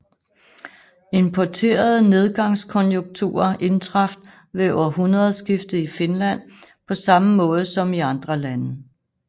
Importerede nedgangskonjunkturer indtraf ved århundredeskiftet i Finland på samme måde som i andre lande